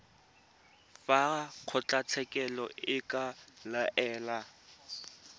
fa kgotlatshekelo e ka laela